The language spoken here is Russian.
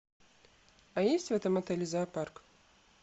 а есть в этом отеле зоопарк